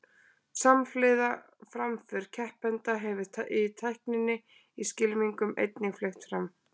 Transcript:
samhliða framför keppenda hefur tækninni í skylmingum einnig fleygt fram